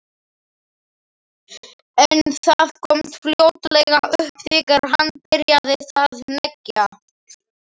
En það komst fljótlega upp þegar hann byrjaði að hneggja.